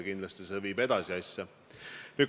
Kindlasti viib see asja edasi.